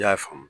I y'a faamu